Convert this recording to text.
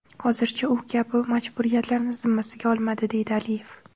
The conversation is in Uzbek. Hozircha u bu kabi majburiyatlarni zimmasiga olmadi”, deydi Aliyev.